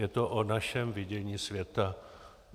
Je to o našem vidění světa.